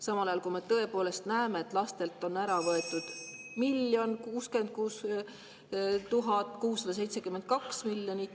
Samal ajal, kui me tõepoolest näeme, et lastelt on ära võetud miljon, 66 000, 672 000.